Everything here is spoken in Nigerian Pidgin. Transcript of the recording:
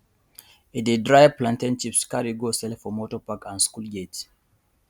e dey dry plantain chips carry go sell for motor park and school gate